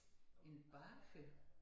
En bager